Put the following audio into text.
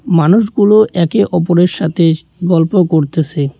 মানুষগুলো একে অপরের সাথে গল্প করতেসে।